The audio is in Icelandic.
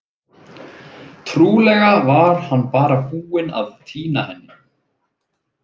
Trúlega var hann bara búinn að týna henni.